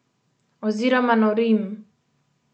Oziroma norim.